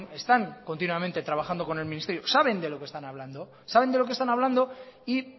están continuamente trabajando con el ministerio saben de lo que están hablando y